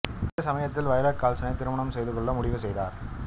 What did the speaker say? இந்தச் சமயத்தில் வயலட் கால்சனைத் திருமணம் செய்து கொள்ள முடிவு செய்தார்